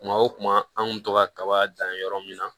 Kuma o kuma an kun bi to ka kaba dan yɔrɔ min na